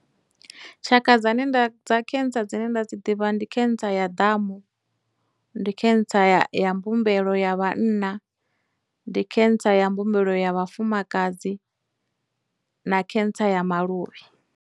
Tshaka dzane nda, dza cancer dzine nda dzi ḓivha ndi cancer ya ḓamu, ndi cancer ya ya mbumbelo ya vhanna, ndi cancer ya mbumbelo ya vhafumakadzi, na cancer ya maluvhi.